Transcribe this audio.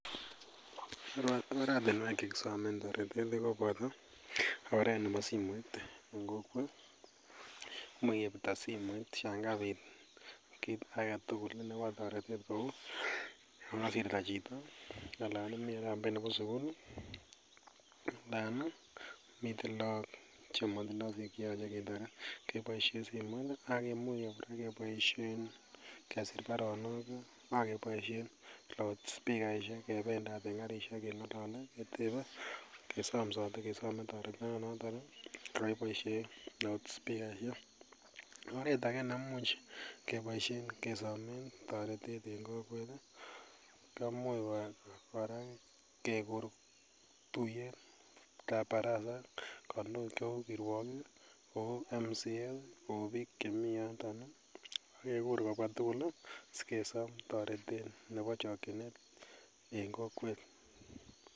Oratuniek chekisomen toreti en oret nebo simoiten kokwet ih, Yoon mache kebirto simoit en toretet kouu yekasirta chito kouu yemii arambei nebo sigul anan komiten laak chebo sugul ih, miten laak ih cheimuche ketaret. Keboisien loudspeaker kebendat en karisiek ak keng'alele ketebe kesam sate ketaret noton ih oret age keboisien kesomen en kokwet ih kemwoiwon tuyet nekabar kirwagig kouu MCAs bik chemi yoton ih agekur kobwa tugul kesom taretet nebo chakchinet en kokwet